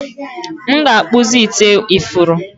m ga-akpụzi ite ifuru